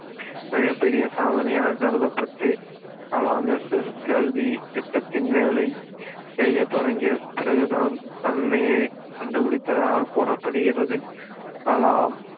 மிகப்பெரிய சாதனையாகக் கருதப்பட்டு கலாம் SSLV திட்டத்தின் வேலை செய்ய தொடங்கியப் பிறகுதான் தன்னையே கண்டுபிடித்ததாகக் கூறப்படுகிறது கலாம்